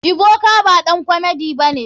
Ebuka baɗan komedi bane.